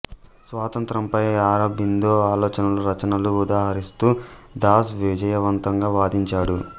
స్వాతంత్ర్యంపై అరబిందో ఆలోచనలు రచనలను ఉదహరిస్తూ దాస్ విజయవంతంగా వాదించాడు